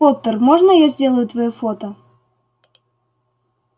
поттер можно я сделаю твоё фото